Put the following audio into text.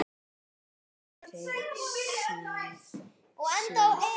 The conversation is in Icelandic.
Ég átti aldrei séns.